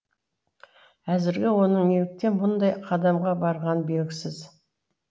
әзірге оның неліктен мұндай қадамға барғаны белгісіз